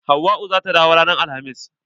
Hauwa zata dawo ran alhamis.